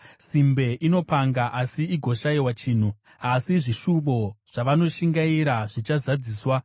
Simbe inopanga asi igoshayiwa chinhu, asi zvishuvo zvavanoshingaira zvichazadziswa.